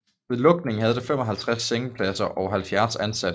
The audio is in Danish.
Ved lukningen havde det 55 sengepladser og 70 ansatte